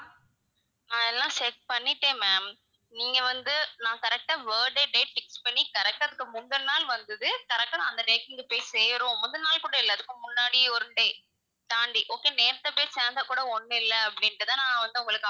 அதெல்லாம் check பண்ணிட்டேன் ma'am நீங்க வந்து நான் correct ஆ birthday date fix பண்ணி correct ஆ அதுக்கு முந்தனநாள் வந்தது, correct ஆ நான் அந்த date வந்து போய் சேரும் முந்தின நாள் கூட அதுக்கு முன்னாடி ஒரு day தாண்டி okay நேத்தே போய் சேர்ந்தா கூட ஒண்ணும் இல்ல அப்படின்ட்டு தான் நான் வந்து உங்களுக்கு,